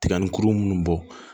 Tiga ni kuru minnu bɔ